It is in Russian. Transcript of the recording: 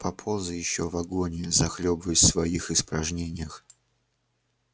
поползай ещё в агонии захлёбываясь в своих испражнениях